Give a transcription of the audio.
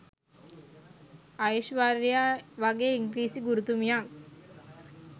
අයිශ්වර්‍යා වගේ ඉංග්‍රිසි ගුරුතුමියක්